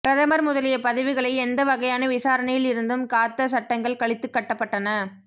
பிரதமர் முதலிய பதவிகளை எந்த வகையான விசாரணையில் இருந்தும் காத்த சட்டங்கள் கழித்துக்கட்டப்பட்டன